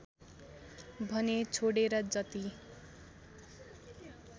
भने छोडेर जति